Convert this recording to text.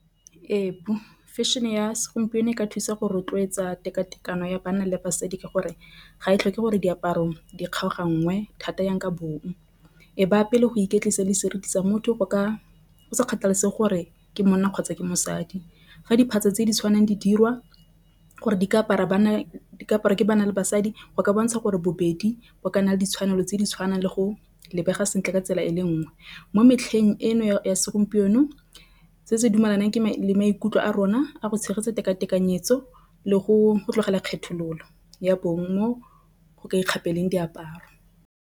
Ee fashion-e ya segompieno e ka thusa go rotloetsa tekatekano ya banna le basadi. Ka gore ga e tlhoke gore diaparo di kgaoganngwe thata yang ka bong e baya pele go iketlisa le seriti sa motho ka go sa kgathalesege gore ke monna kgotsa ke mosadi. Fa tse di tshwanang di dirwa gore di ka apara bana ka apara ke banna le basadi go bontsha gore bobedi bo kana ditshwanelo tse di tshwanang le go lebega sentle ka tsela e le nngwe. Mo metlheng eno ya segompieno nou se se dumalanang ke maikutlo a rona a go tshegetsa teka tekanyetso le go tlogela kgethololo ya bong mo go ka ikgapela diaparo.